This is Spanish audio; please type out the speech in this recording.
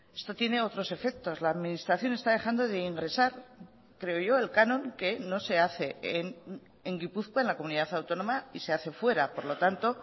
esto tiene otros efectos la administración está dejando de ingresar creo yo el canon que no se hace en gipuzkoa en la comunidad autónoma y se hace fuera por lo tanto